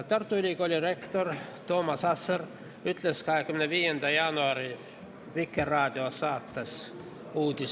Tartu Ülikooli rektor Toomas Asser ütles 25. jaanuari Vikerraadio saates "Uudis+" ...